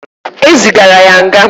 E zigara ya nga.